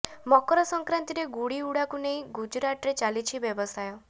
ମକର ସଂକ୍ରାନ୍ତିରେ ଗୁଡ଼ି ଉଡ଼ାକୁ ନେଇ ଗୁଜରାଟରେ ଚାଲିଛି ବ୍ୟବସାୟ